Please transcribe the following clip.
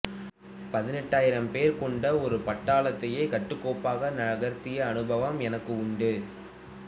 பதினைந்தாயிரம் பேர் கொண்ட ஒரு பட்டாளத்தையே கட்டுக்கோப்பாக நகர்த்திய அனுபவம் எனக்கு உண்டு